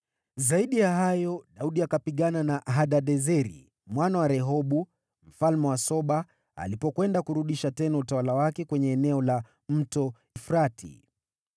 Zaidi ya hayo, Daudi akapigana na Hadadezeri mwana wa Rehobu, mfalme wa Soba, alipokwenda kurudisha tena utawala wake kwenye eneo la Mto Frati.